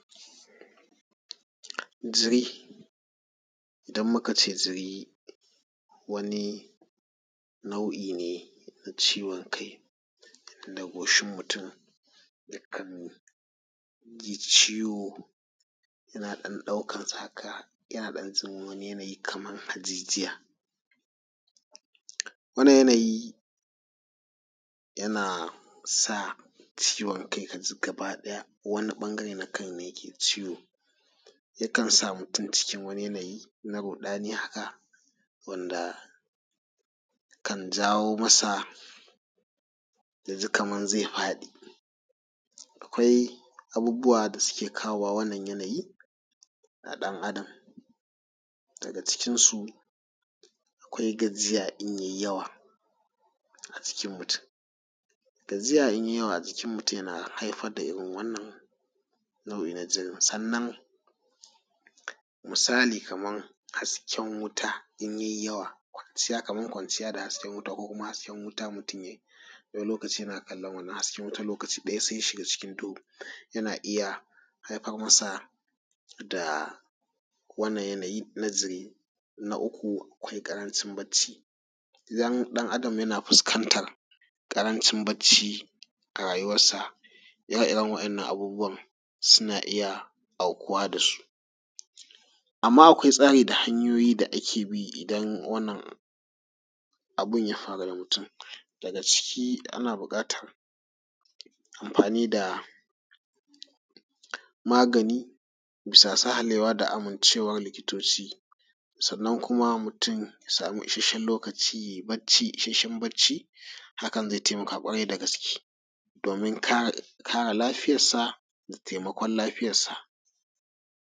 Jiri, idan muka ce jir wani nau'i ne na ciwon kai da goshin mutum yakan ji ciwo yana dan dauakar sa haka yana dan wani yanayi kamar hajijiya. Wannan yanayi yana sa ciwon kai ka ji gaba daya wani ɓangaren ne yake ciwon. Yakan sa mutum cikin wani yanayi na ruɗani haka, wanda kan jawo masa ya ji kamar zai faɗi. Akwai abubuwa da suke kawowa wanda suke kawo wannan yanyi ga ɗan Adam daga cikinsu akwai gajiya idan yayi yawa a jikin mutum. Gajiya in ya yi yawa yana haifar da da wannan nau'in na jiri. Sannan misalin kamar hasken wuta idan ya yi yawa, kamar kwanciya da hasken wuta, hasken wuta idan mutum yana kallon wannan hasken wutan lokaci ɗaya sai ya shiga cikin duhu yana iya haifar masa da wannan yanayi na jiri. Na uku akwai karancin bacci, idan ɗan Adam yana fuskantar karancin bacci a rayuwansa ire-iren waɗannan abubuwan suna iya aukuwa da su. Amma akwai hanyoyin da ake bi idan wannan abun ya faru da mutum, daga ciki ana buƙatar amfani da magani a bisa sahalewa da yarda na likitoci. Sannnan kuma mutum ya sam isasshen lokaci ya yi bacci isasshen bacci, hakan zai taimaka ƙwarai dagske domin kare lafiyasa da taimakon lafiyarsa.